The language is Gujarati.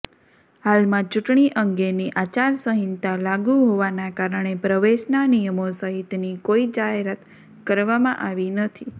હાલમાં ચૂંટણી અંગેની આચારસંહિતા લાગુ હોવાના કારણે પ્રવેશના નિયમો સહિતની કોઇ જાહેરાત કરવામાં આવી નથી